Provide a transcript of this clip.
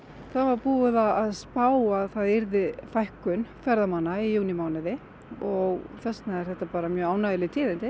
það var búið að spá að það yrði fækkun ferðamanna í júnímánuði og þess vegna eru þetta bara mög ánægjuleg tíðindi